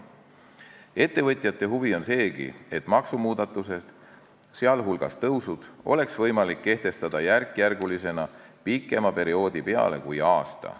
Ettevõtjate huvi on seegi, et maksumuudatusi, sh maksutõuse, oleks võimalik kehtestada järkjärgulisena, pikema perioodi peale kui aasta.